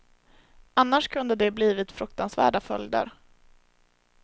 Annars kunde det blivit fruktansvärda följder.